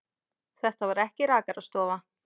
Þetta var ekki rakarastofa.